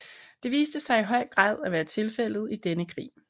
Det viste sig i høj grad at være tilfældet i denne krig